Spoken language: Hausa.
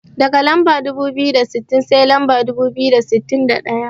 Daga lamba dubu biyu da sittin, sai lamba dubu biyu da sittin da ɗaya.